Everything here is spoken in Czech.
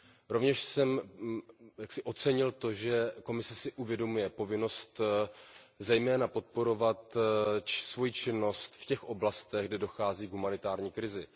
Rovněž jsem ocenil to, že Komise si uvědomuje povinnost zejména podporovat svoji činnost v těch oblastech, kde dochází k humanitární krizi.